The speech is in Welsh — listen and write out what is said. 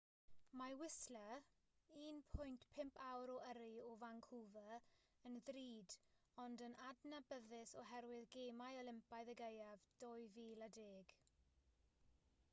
mae whistler 1.5 awr o yrru o vancouver yn ddrud ond yn adnabyddus oherwydd gemau olympaidd y gaeaf 2010